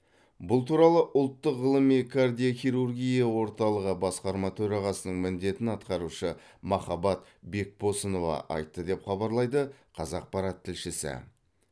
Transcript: бұл туралы ұлттық ғылыми кардиохирургия орталығы басқарма төрағасының міндетін атқарушы махаббат бекбосынова айтты деп хабарлайды қазақпарат тілшісі